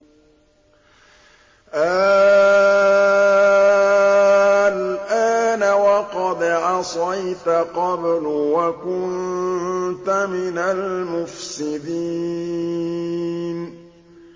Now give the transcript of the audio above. آلْآنَ وَقَدْ عَصَيْتَ قَبْلُ وَكُنتَ مِنَ الْمُفْسِدِينَ